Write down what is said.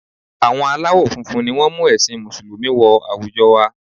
Àwọn aláwọ̀ funfun ni wọ́n mú ẹ̀sìn Mùsùlùmí wọ àwùjọ wa